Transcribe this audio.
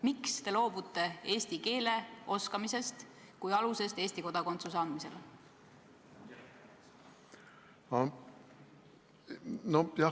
Miks te loobute eesti keele oskamise nõudest kui alusest Eesti kodakondsuse andmisel?